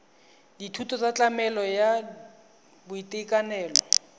dithuso tsa tlamelo ya boitekanelo